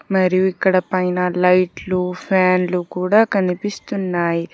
మరియు ఇక్కడ పైన లైట్లు ఫ్యాన్లు కూడ కనిపిస్తున్నాయి.